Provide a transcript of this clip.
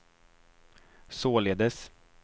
således